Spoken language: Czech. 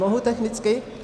Mohu technicky?